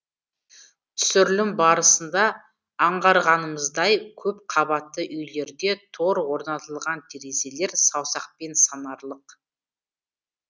түсірілім барысында аңғарғанымыздай көп қабатты үйлерде тор орнатылған терезелер саусақпен санарлық